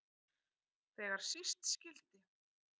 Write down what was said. Þegar síst skyldi.